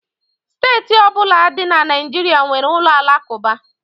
Steeti ọbụla dị na Naịjirịa nwere ụlọ alakụba